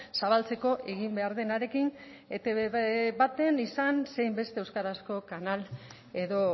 zabaltzeko egin behar denarekin etb baten izan zein beste euskarazko kanal edo